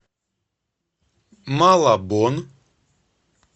малабон